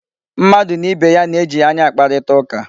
Mmadụ na ibe ya na-eji anya akparịta ụka.